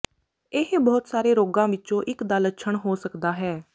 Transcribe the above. ਇਹ ਬਹੁਤ ਸਾਰੇ ਰੋਗਾਂ ਵਿੱਚੋਂ ਇੱਕ ਦਾ ਲੱਛਣ ਹੋ ਸਕਦਾ ਹੈ